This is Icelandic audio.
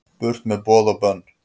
Burt með boð og bönn